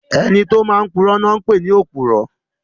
Ẹni tó máa n purọ́ ni wọ́n pè ní òpùrọ́